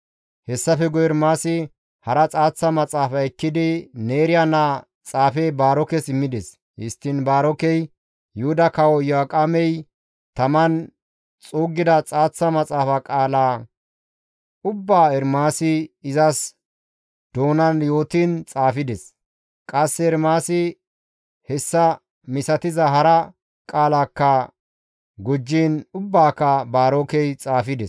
Hessafe guye Ermaasi hara xaaththa maxaafa ekkidi Neeriya naa xaafe Baarokes immides; histtiin Baarokey Yuhuda kawo Iyo7aaqemey taman xuuggida xaaththa maxaafa qaala ubbaa Ermaasi izas doonan yootiin xaafides. Qasse Ermaasi hessa misatiza hara qaalakka gujjiin ubbaaka Baarokey xaafides.